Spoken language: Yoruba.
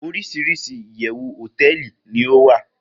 orisirisi iyewu hoteeli ni owa